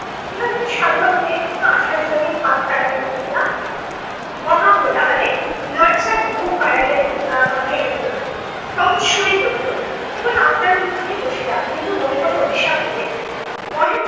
বিনোদিনী সাধারণ মেয়ের মত আশার সহিত হাত কারাকারি করিয়া মহা কোলাহলে লজ্জার ধুম বাড়াইয়া আহ বাঁধাইয়া দিল না। সহজ সুরেই বলিল কেবল আপনার অনুরোধেই বসিলাম, কিন্তু মনে মনে অভিশাপ দিবেন না। মহেন্দ্র